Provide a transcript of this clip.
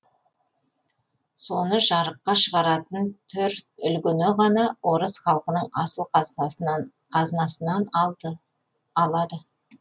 соны жарыққа шығаратын түр үлгіні ғана орыс халқының асыл қазынасынан алады